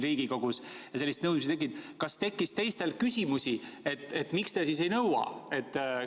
Aga kas kellelgi tekkis küsimus, et miks te siis ei nõua?